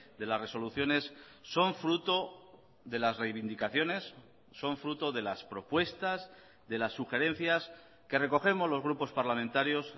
de las resoluciones son fruto de las reivindicaciones son fruto de las propuestas de las sugerencias que recogemos los grupos parlamentarios